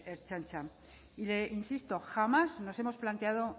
ertzaintza e insisto jamás nos hemos planteado